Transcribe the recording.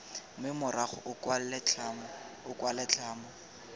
mme morago o kwale tlhamo